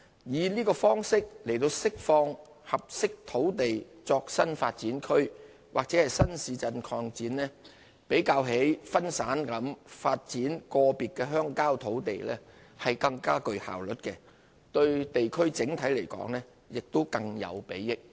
以這方式釋放合適土地作新發展區/新市鎮擴展較分散地發展個別鄉郊土地更具效率，對地區整體亦更有裨益。